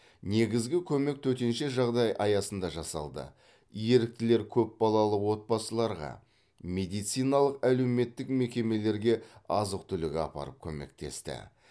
негізгі көмек төтенше жағдай аясында жасалды еріктілер көпбалалы отбасыларға медициналық әлеуметтік мекемелерге азық түлік апарып көмектесті